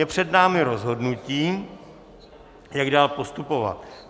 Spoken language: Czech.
Je před námi rozhodnutí, jak dál postupovat.